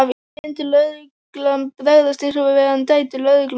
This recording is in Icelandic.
Myndi lögreglan bregðast eins við ef við værum dætur lögreglumanna?